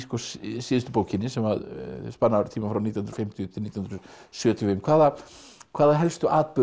síðustu bókinni sem spannar tímann frá nítján hundruð og fimmtíu til nítján hundruð sjötíu og fimm hvaða hvaða helstu atburði